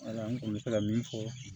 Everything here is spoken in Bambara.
Wala n kun bɛ fɛ ka min fɔ